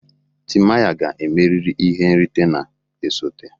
timaya ga-emeri ihe nrite na-esote